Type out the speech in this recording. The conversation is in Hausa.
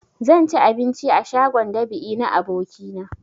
Zan ci abinci a shagon dab'i na abokina